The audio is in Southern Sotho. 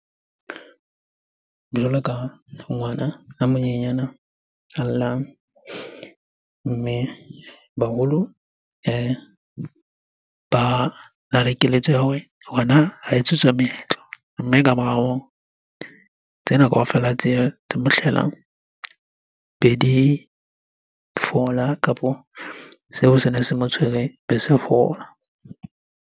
Jwalo ka ngwana a monyenyana a llang. Mme baholo ba keletso ya hore ngwana ha etsetswa moetlo. Mme ka mora hoo, tsena kaofela tse mo hlelang be di fola kapo seo sene se motshwere be se fola.